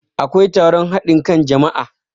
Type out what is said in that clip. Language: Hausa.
akwai taron hadin kan jama'a